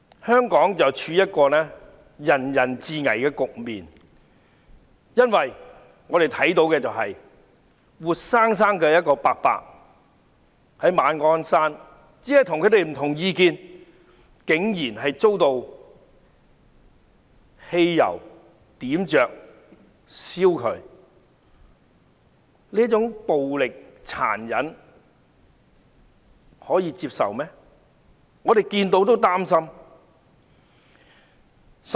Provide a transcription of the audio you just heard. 香港正處於人人自危的局面，我們看到馬鞍山一名老伯伯只是跟其他人持不同意見，竟然遭人淋汽油後點火活生生燃燒，這種殘忍的暴力是可以接受的嗎？